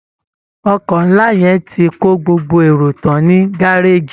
Ọkọ̀ ńlá yẹn ti kó gbogbo èrò tán ní gárèjì